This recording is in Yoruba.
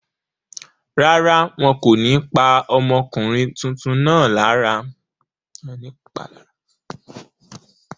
Rárá, wọn kò ní pa ọmọkùnrin tuntun náà lára.